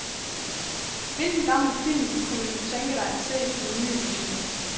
Hvilken gammel film kunne du tænke dig at se i en ny version.